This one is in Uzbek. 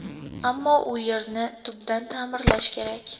Ammo u yerni tubdan ta’mirlash kerak.